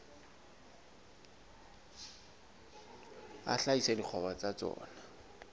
a hlahisa dikgwebo tsa tsona